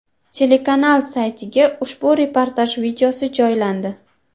Telekanal saytiga ushbu reportaj videosi joylandi .